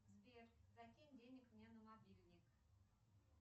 сбер закинь денег мне на мобильник